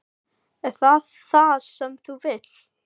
Er það það sem þú vilt?